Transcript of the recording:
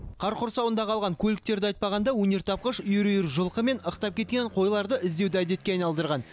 қар құрсауында қалған көліктерді айтпағанда өнертапқыш үйір үйір жылқы мен ықтап кеткен қойларды іздеуді әдетке айналдырған